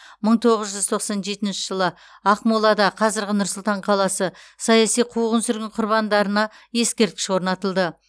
мың тоғыз жүз тоқсан жетінші жылы ақмолада қазіргі нұр сұлтан қаласы саяси қуғын сүргін құрбандарына ескерткіш орнатылды